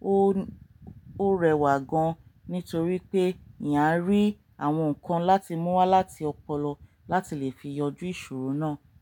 ó, ó rẹwà gan-an nítorí pé eeyàn arí àwọn nǹkan láti mú wá láti ọpọlọ láti lè fi yanjú ìṣòro náà.